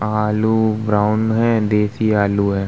आलू ब्राउन है देशी आलू है ।